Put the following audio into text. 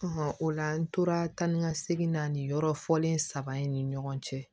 o la an tora tan ni ka segin na nin yɔrɔ fɔlen saba in ni ɲɔgɔn cɛ